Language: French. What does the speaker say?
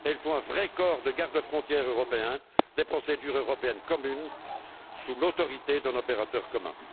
il faut un vrai corps de gardes frontières européens, des procédures européennes communes, sous l'autorité d'un opérateur commun.